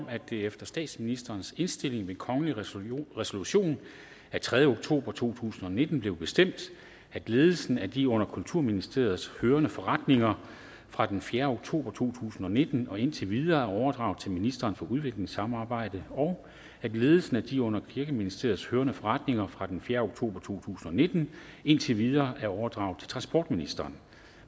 om at det efter statsministerens indstilling ved kongelig resolution resolution den tredje oktober to tusind og nitten blev bestemt at ledelsen af de under kulturministeriet hørende forretninger fra den fjerde oktober to tusind og nitten og indtil videre er overdraget til minsteren for udviklingssamarbejde og at ledelsen af de under kirkeministeriet hørende forretninger fra den fjerde oktober to tusind og nitten og indtil videre er overdraget til transportministeren